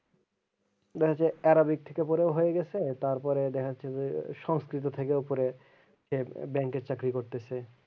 দেখা যাচ্ছে Arabic থেকে ওপরে হয়ে গেছে তারপরে দেখা যাচ্ছে যে সংস্কৃত থেকে ওপরে যে bank এর চাকরি করতাছে।